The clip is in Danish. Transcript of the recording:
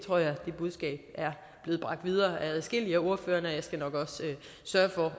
budskab er blevet bragt videre af adskillige af ordførerne og jeg skal nok sørge for